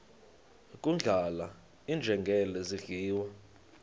kudlala iinjengele zidliwa